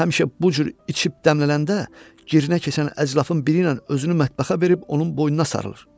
Həmişə bu cür içib dəmlənəndə girinə keçən əclafın biri ilə özünü mətbəxə verib onun boynuna sarılır.